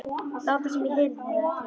Láta sem ég heyrði það ekki.